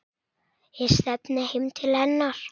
Ég stefni heim til hennar.